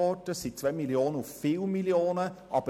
Es sind 2 Mio. Franken auf viele Mio. Franken.